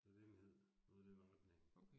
Det var det, den hed noget i den retning